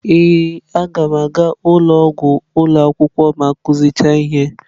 Ee m ga-aga ụlọ ọgwụ ụlọ akwụkwọ ma akụzi cha nkuzi.